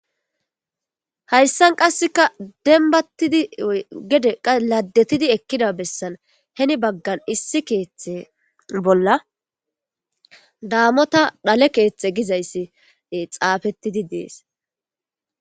hayssan qasseka denbattidi gede qa laddetidi ekkida bessan heni baggan issi keeththe bolla daamota dhale keeththe gizayssi xaafettidi dees